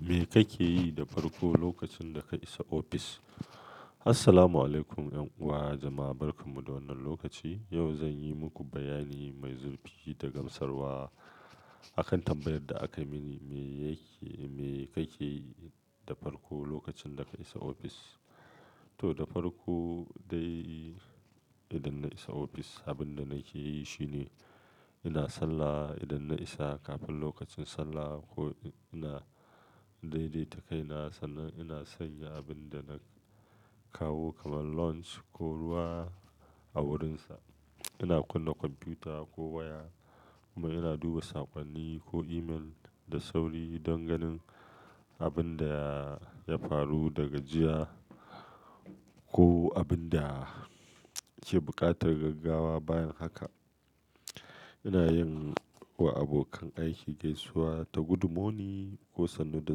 Me kake yi da farko lokacin da ka isa ofis? Assalamualaikum yan uwa jama'a barkan mu da wannan lokaci. Yau zan yi muku bayani mai zurfi da gamsarwa akan tambayar da aka muni, me yake, me kake yi da farko lokacin da ka isa ofis? To, da farko dai idan na isa ofis, abin da na ke yi shine ina sallah idan na isa kafin lokacin sallah ko ina daidaita kaina. Sannan ina sanya abin da na kawo kamar lunch ko ruwa a wurinsa. Ina kunna kwamfuta ko waya kuma ina duba saƙonni ko email da sauri don ganin abin da ya faru daga jiya ko abin da ke buƙatar gaggawa bayan haka. Ina yin wa abokan aiki gaisuwa ta "Good morning" ko "Sannu da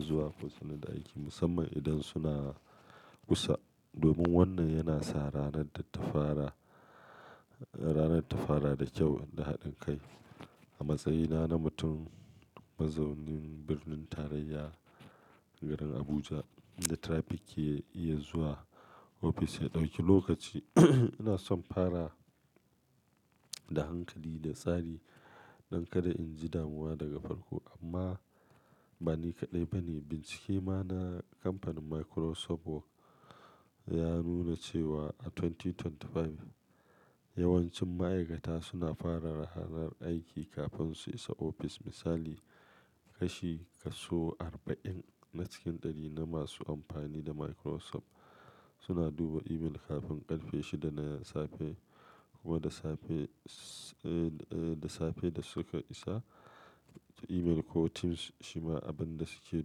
zuwa" ko "Sannu da aiki", musamman idan suna kusa. Domin wannan yana sa ranar ta fara, ranar ta fara da kyau da haɗin kai. A matsayina na mutum mazaunin birnin tarayya garin Abuja inda traffic ke iya zuwa ofis ya ɗauki lokaci, ina son fara da hankali da tsari don kada in ji damuwa daga farko. Amma ba ni kaɗai bane. Bincike ma na kamfanin Microsoft Work ya nuna cewa a dubu biyu da ashirin da biyar yawancin ma'aikata suna fara ranar aiki kafin su isa ofis. Misali, kashi kaso arba'in na cikin ɗari na masu amfani da Microsoft suna duba email kafin ƙarfe shida na safe kuma da safe, eh, da safe da suka isa. Email ko Teams shima abin da su ke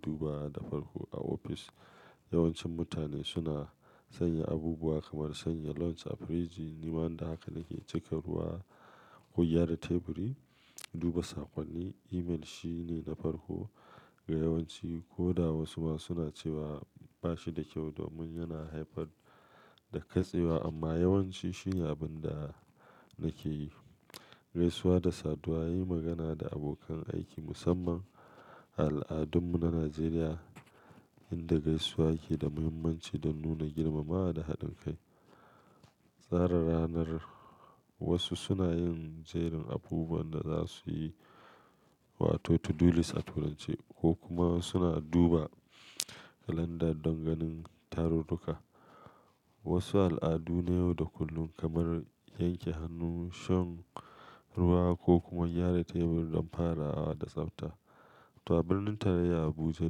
duba da farko a ofis. Yawancin mutane suna sanya abubuwa kamar sanya lunch a firiji, ni wanda haka nake cika ruwa ko gyara teburi, duba saƙonni. Email shi ne na farko ga yawanci koda wasu ma suna cewa ba shi da kyau domin yana haifar da katsewa amma yawanci shi ne abin da nake yi. Gaisuwa da saduwa, yin magana da abokan aiki musamman al'adunmu na Najeriya inda gaisuwa ke da muhimmanci don nuna girmamawa da haɗin kai. Tsara ranar wasu suna yin jerin abubuwan da za su yi wato to-do-list a Turanci ko kuma suna duba kalanda don ganin tarurruka. Wasu al'adu na yau da kullun kamar yanke hannu, shan ruwa ko kuma gyara teburi don farawa da tsafta. To a birnin tarayya Abuja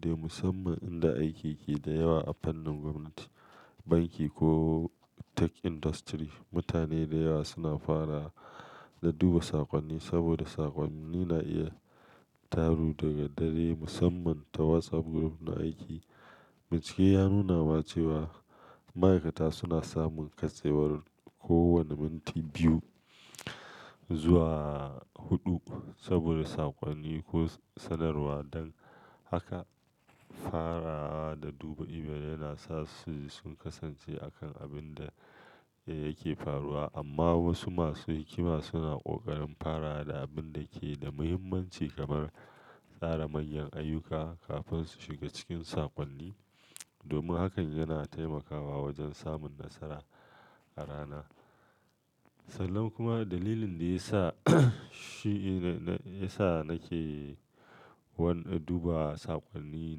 dai musamman inda aiki ke da yawa a fannin gwamnati, banki ko tech industry, mutane da yawa suna fara da duba saƙonni saboda saƙonni na iya taru daga dare musamman ta WhatsApp group na aiki. Bincike ya nuna ma cewa ma'aikata suna samun katsewar kowane minti biyu zuwa huɗu saboda saƙonni ko sanarwa. Don haka, farawa da duba email yana sa su sun kasance a kan abin da yake faruwa. Amma wasu masu hikima suna ƙoƙarin fara da abin da ke da muhimmanci kamar tsara manyan ayyuka kafin su shiga cikin saƙonni domin hakan yana taimakawa wajen samun nasara a rana. Sannan kuma dalilin da ya sa shi ne, ya sa nake wanda duba saƙonni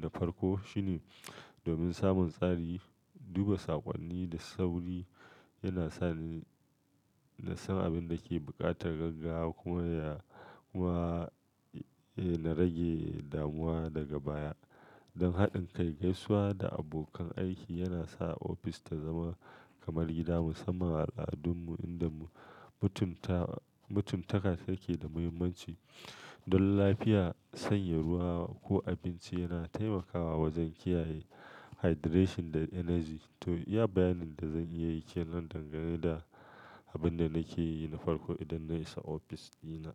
na farko shine domin samun tsari. Duba saƙonni da sauri yana sa ni na san abin da ke buƙatar gaggawa kuma ya, kuma, eh, na rage damuwa daga baya. Don haɗin kai, gaisuwa da abokan aiki yana sa ofis ta zama kamar gida musamman al'adunmu inda mutuntawa, mutuntaka take da muhimmanci. Don lafiya, sanya ruwa ko abinci yana taimakawa wajen kiyaye hydration da energy. To, iya bayanin da zan iya yi ke nan dangane da abin da nake yi na farko idan na isa ofis dina.